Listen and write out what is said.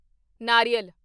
ਨਾਰੀਅਲ